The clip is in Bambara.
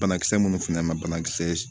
Banakisɛ minnu filɛ ma banakisɛ